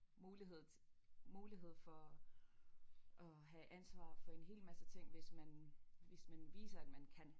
Mulighed mulighed for at have ansvar for en hel masse ting hvis man hvis man viser at man kan